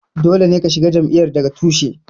Dole ne ka shiga jam'iyyar daga tushe.